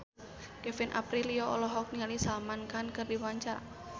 Kevin Aprilio olohok ningali Salman Khan keur diwawancara